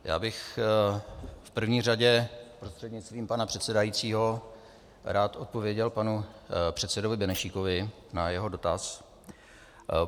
Já bych v první řadě prostřednictvím pana předsedajícího rád odpověděl panu předsedovi Benešíkovi na jeho dotaz.